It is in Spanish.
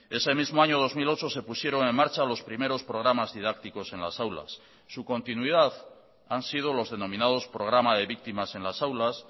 ese mismo año dos mil ocho se pusieron en marcha los primeros programas didácticos en las aulas su continuidad han sido los denominados programa de víctimas en las aulas